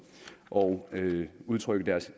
og udtrykke deres